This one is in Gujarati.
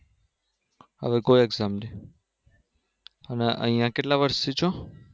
હવે કોઈ. Option નહિ અને અહીયા કેટલા વર્ષ થી છો